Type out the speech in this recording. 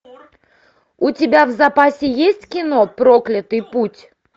у тебя в запасе есть кино проклятый путь